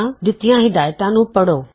ਦਿੱਤੀਆਂ ਹਿਦਾਇਤਾਂ ਪੜ੍ਹੋ